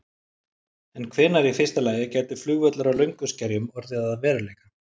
En hvenær í fyrsta lagi gæti flugvöllur á Lönguskerjum orðið að veruleika?